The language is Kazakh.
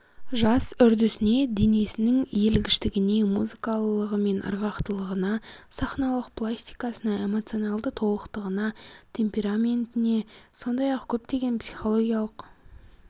жас үрдісіне денесінің иілгіштігіне музыкалылығы мен ырғақтылығына сахналық пластикасына эмоционалды толықтығына темпераментіне сондай-ақ көптеген психологиялық